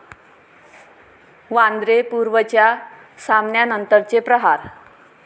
वांद्रे पूर्वच्या सामन्यानंतरचे 'प्रहार'